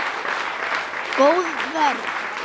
Góð vörn.